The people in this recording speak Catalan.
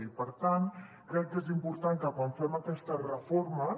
i per tant crec que és important que quan fem aquestes reformes